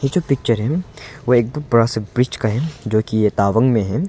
जो है वो एक दम बड़ा सा ब्रिज का है जो कि ये तावांग में है।